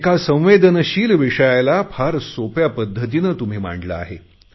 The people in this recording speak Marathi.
एका संवेदनशील विषयाला फार सोप्या पध्दतीने तुम्ही मांडले आहे